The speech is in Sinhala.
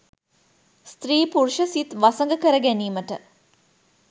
ස්ත්‍රී පුරුෂ සිත් වසඟ කර ගැනීමට